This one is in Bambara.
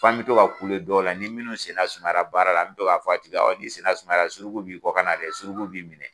Fan bɛ to k'a kule dɔw la, ni minnu senna sumayara baara la an bɛ to k'a tigi awɔ i senna sumayara suruku b'i kɔ ka na dɛ suruku bi minɛ.